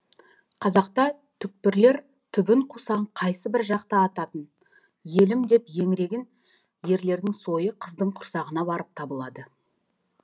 қазақта түкпірлер түбін қусаң қайсыбір жақты ататын елім деп еңіреген ерлердің сойы қыздың құрсағына барып табылады